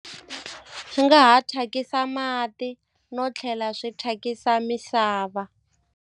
Swi nga ha thyakisa mati no tlhela swi thyakisa misava.